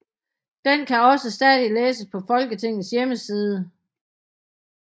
Den kan også stadig læses på Folketingets hjemmeside